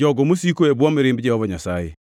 jogo mosiko e bwo mirimb Jehova Nyasaye.